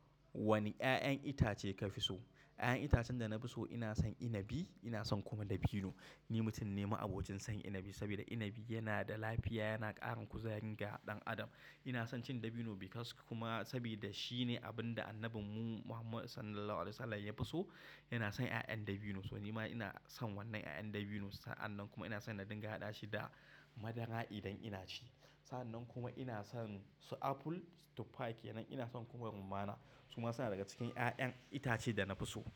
Wani 'ya'yan itace ka fi so? 'Ya'yan itacen da na fi so ina son inibi, ina son kuma dabino. Ni mutum ne ma'abocin son inibi, saboda inibi yana da lafiya, yana ƙarin kuzari ga ɗan adam. Ina son cin dabino, because kuma saboda shi ne abin da annabinmu Muhammadu Sallallahu Alaihi Wasallam ya fi so. Yana son 'ya'yan dabino, so nima ina son wannan 'ya'yan dabino. Sa'an nan kuma, ina son na dinga haɗa shi da madara idan ina ci. Sa'an nan kuma ina son su apple, tuffa kenan ina son kuma rummana. Su ma suna daga cikin 'ya'yan itace da na fi so.